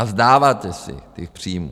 A vzdáváte se těch příjmů.